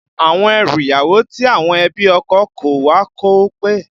Àwọn ẹrù ìyàwó tí àwọn ẹbí ọkọ kó wá kò pé